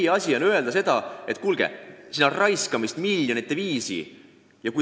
Meie asi on öelda, et kuulge, siin raisatakse miljoneid!